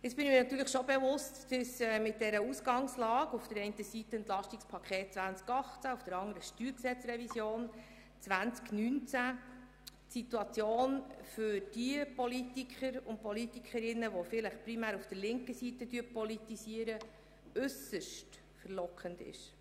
Ich bin mir natürlich schon bewusst, dass es mit dieser Ausgangslage – auf der einen Seite das EP 2018 und auf der anderen Seite die StG-Revision 2019 – für Politiker und Politikerinnen, die vielleicht primär auf der linken Seite politisieren, äusserst verlockend ist.